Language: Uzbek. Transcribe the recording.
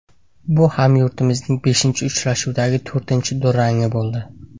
Bu hamyurtimizning beshinchi uchrashuvdagi to‘rtinchi durangi bo‘ldi.